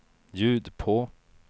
ljud på